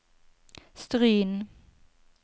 Stryn